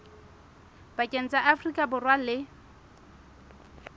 pakeng tsa afrika borwa le